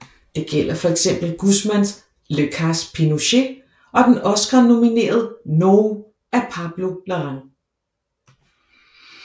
Det gælder for eksempel Guzmáns Le cas Pinochet og den oscarnominerede No af Pablo Larraín